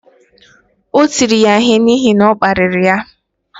O tiri ya ihe n’ihi na ọ kparịrị ya